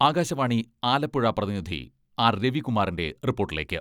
ആകാശവാണി ആലപ്പുഴ പ്രതിനിധി ആർ രവികുമാറിന്റെ റിപ്പോട്ടിലേക്ക്.....